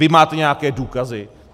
Vy máte nějaké důkazy?